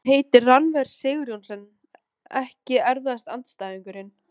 Hann heitir Rannver Sigurjónsson EKKI erfiðasti andstæðingur?